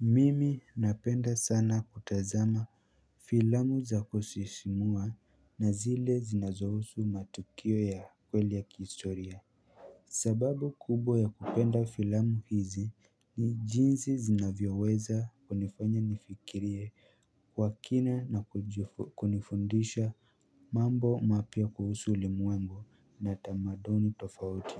Mimi napenda sana kutazama filamu za kusisimua na zile zinazohusu matukio ya kweli ya kihistoria sababu kubwa ya kupenda filamu hizi ni jinsi zinavyoweza kunifanya nifikirie kwa kina na kunifundisha mambo mapya kuhusu ulimwengu na tamadomuni tofauti